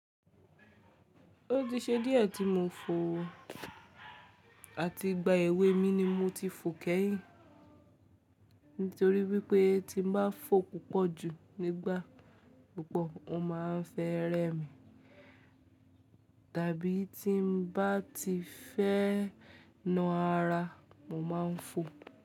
Ó ti ṣe díẹ̀ tí mo ń fò ọ, àti ìgbà èwe mi ni mo ti ń fò kẹ́yìn. Nítorí wípé tí mo bá fò púpọ̀ jù nígbà púpọ̀ ọ ma ń fẹ́ rẹ mi. Tàbí tí n bá ti fẹ́ na ara mo ma ń fò.